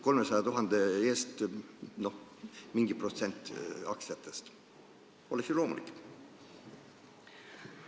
300 000 eest mingi protsent aktsiatest oleks ju loomulik?